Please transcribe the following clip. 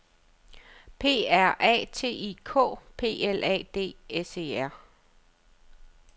P R A K T I K P L A D S E R